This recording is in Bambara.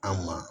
An ma